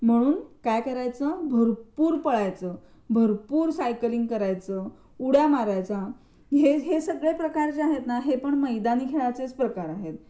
म्हणून काय करायचं भरपूर पळायचं भरपूर सायकलिंग करायचं उड्या मारायच्या प्रकारचे आहे हे जे प्रकार आहे ना ते पण मैदानी खेळाचे प्रकार आहेत.